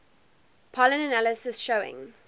pollen analysis showing